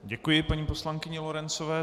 Děkuji paní poslankyni Lorencové.